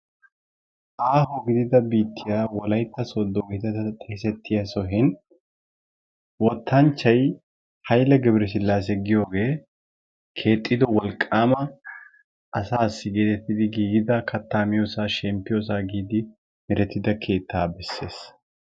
Aaho gidida biittiya wolaytta sodo geetettada xeesettiya sohen wottanchchay hayile gebresilase giyoge keexxido wolqqaama asaassi geettettidi giigida kattaa miyosaa gididi merettida keettaa bessees.